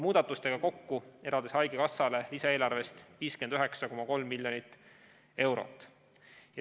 Muudatustega kokku on eraldis haigekassale lisaeelarvest 59,3 miljonit eurot.